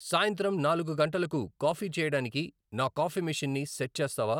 సాయంత్రం నాలుగు గంటలకు కాఫీ చేయడానికి నా కాఫీ మెషీన్ని సెట్ చేస్తావా